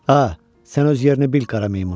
A, sən öz yerini bil, qara meymun.